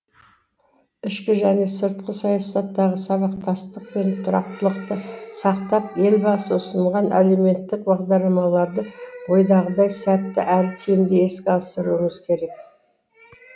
ішкі және сыртқы саясаттағы сабақтастық пен тұрақтылықты сақтап елбасы ұсынған әлеуметтік бағдарламаларды ойдағыдай сәтті әрі тиімді іске асыруымыз керек